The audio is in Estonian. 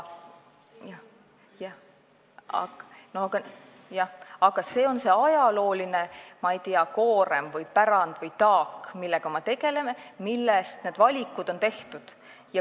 Jah, aga see on see ajalooline, ma ei tea, koorem või pärand või taak, millega me tegeleme, mille põhjal need valikud on tehtud.